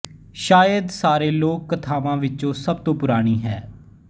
ਸ਼ਾਇਦ ਸਾਰੇ ਲੋਕ ਕਥਾਵਾਂ ਵਿੱਚੋਂ ਸਭ ਤੋਂ ਪੁਰਾਣੀ ਹੈ